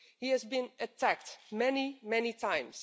He has been attacked many, many times.